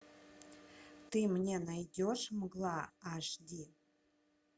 ты мне найдешь мгла аш ди